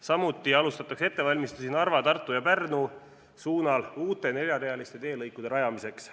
Samuti alustatakse ettevalmistusi Narva, Tartu ja Pärnu suunal uute neljarealiste teelõikude rajamiseks.